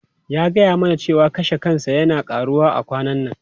Ya gaya mana cewa kashe kansa yana karuwa a kwanan nan.